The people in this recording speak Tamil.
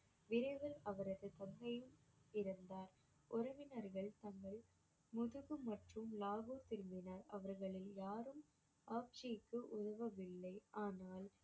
விரைவில் அவரது தந்தையும் இறந்தார் உறவினர்கள் தங்கள் முதுகு மற்றும் லாகூர் திரும்பினர் அவர்களில் யாரும் ஆப்ஜிக்கு உதவவில்லை ஆனால்